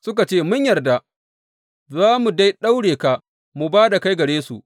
Suka ce, Mun yarda, za mu dai daure ka mu ba da kai gare su.